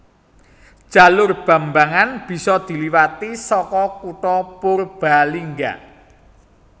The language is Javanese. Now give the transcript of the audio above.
Jalur Bambangan bisa diliwati saka kutha Purbalingga